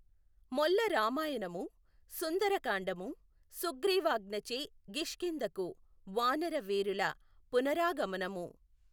మొల్ల రామాయణము సుందరకాండము సుగ్రీవాజ్ఞచే గిష్కింధకు వానరవీరుల పునరాగమనము.